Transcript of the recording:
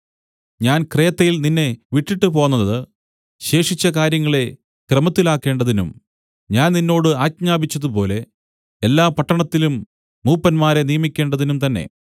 ഞാൻ ക്രേത്തയിൽ നിന്നെ വിട്ടിട്ടുപോന്നത് ശേഷിച്ച കാര്യങ്ങളെ ക്രമത്തിലാക്കേണ്ടതിനും ഞാൻ നിന്നോട് ആജ്ഞാപിച്ചതുപോലെ എല്ലാ പട്ടണത്തിലും മൂപ്പന്മാരെ നിയമിക്കേണ്ടതിനും തന്നെ